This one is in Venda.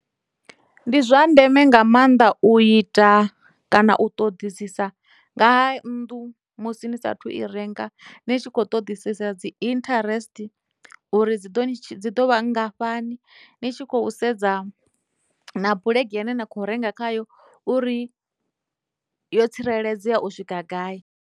Ndi zwa ndeme nga maanḓa u ita kana u ṱoḓisisa nga ha nnḓu musi ni saathu i renga ni tshi kho ṱodisisa dzi interest uri dzi ḓo dzi ḓo vha ngafhani ni tshi khou sedza na bulege ine na kho renga khayo uri yo tsireledzea u swika gai.